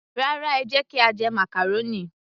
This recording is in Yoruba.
Rárá, ẹ jẹ́ kí a jẹ màcàrónì